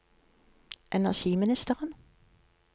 energiministeren